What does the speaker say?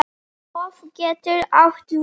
Hof getur átt við